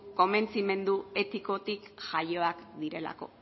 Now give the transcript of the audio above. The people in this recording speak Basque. konbentzimendu etikotik jaioak direlako